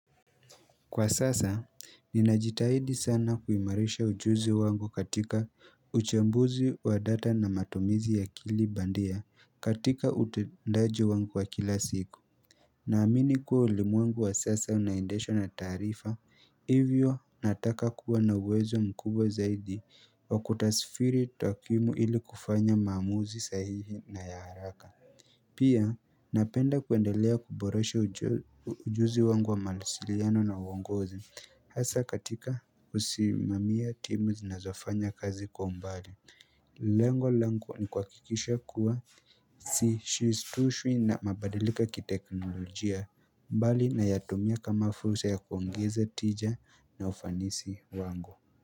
Kwa sasa, ninajitahidi sana kuimarisha ujuzi wangu katika uchambuzi wa data na matumizi ya akili bandia katika utendaji wangu wa kila siku. Naamini kuwa ulimwengu wa sasa unaendeshwa na tarifa, hivyo nataka kuwa na uwezo mkubwa zaidi wa kutasifiri takimu ili kufanya maamuzi sahihi na ya haraka. Pia napenda kuendelea kuboreshe ujuzi wangu wa mawasiliano na uongozi hasa katika usimamia timu zinazofanya kazi kwa mbali Lengo langu ni kuhakikisha kuwa sishistushwi na mabadiliko kiteknolojia mbali na yatumia kama fulsa ya kuongeza tija na ufanisi wangu.